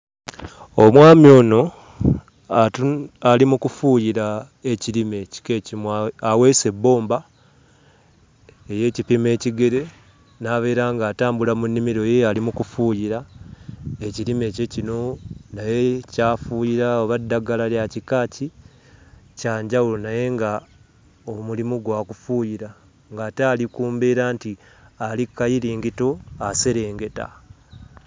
Omwami ono atu ali mu kufuuyira ekirime ekika ekimu a aweese ebbomba ey'ekipimo ekigere n'abeera ng'atambula mu nnimiro ye ali mu kufuuyira ekirime kye kino naye ky'afuuyira oba ddagala lya kika ki kya njawulo naye nga omulimu gwa kufuuyira ng'ate ali ku mbeera nti ali kkayiringito aserengeta.